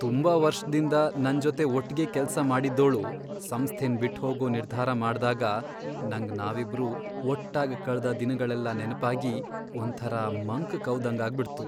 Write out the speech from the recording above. ತುಂಬಾ ವರ್ಷ್ದಿಂದ ನನ್ಜೊತೆ ಒಟ್ಗೆ ಕೆಲ್ಸ ಮಾಡಿದ್ದೋಳು ಸಂಸ್ಥೆನ್ ಬಿಟ್ಹೋಗೋ ನಿರ್ಧಾರ ಮಾಡ್ದಾಗ ನಂಗ್ ನಾವಿಬ್ರು ಒಟ್ಟಾಗ್ ಕಳ್ದ್ ದಿನಗಳೆಲ್ಲ ನೆನ್ಪಾಗಿ ಒಂಥರ ಮಂಕ್ ಕವ್ದಂಗಾಗ್ಬಿಡ್ತು.